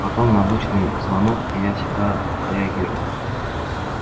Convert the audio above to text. потом на обычный звонок я не всегда реагирую